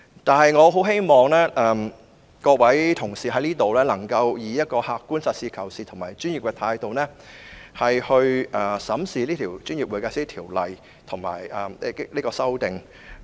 不過，我希望各位同事在這裏能夠以一種客觀、實事求是及專業的態度，審視這項《條例草案》。